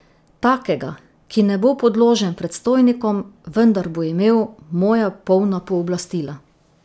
Takega, ki ne bo podložen predstojnikom, vendar bo imel moja polna pooblastila.